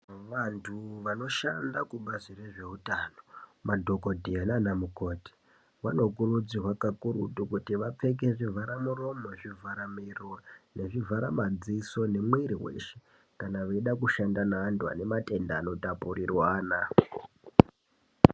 Vantu vanoshanda kubazi rezveutano madhokodheya nanamukoti vanokurudzirwa kakurutu kuti vapfeke zvivhara muromo zvivhara miro nezvivhara madziso nemwiri weshe kana veida kushanda nevantu vane matenda ano tapurirwana .